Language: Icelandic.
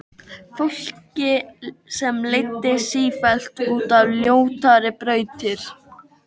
Fólki sem leiddist sífellt út á ljótari brautir.